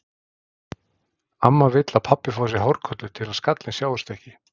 Amma vill að pabbi fái sér hárkollu til að skallinn sjáist ekki.